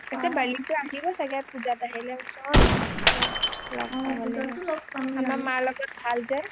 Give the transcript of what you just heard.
কৈছে bali টো আহিব চাগে পূজাত আহিলে মই কৈছোঁ অ আহিবা লগ পাব লাগিব আমাৰ মাৰ লগত ভাল যে